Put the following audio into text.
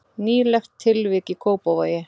Nýlegt tilvik í Kópavogi